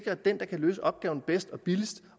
at den der kan løse opgaven bedst og billigst